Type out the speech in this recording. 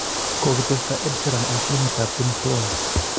kogitesta Ed Sheeran en filimitap game of thrones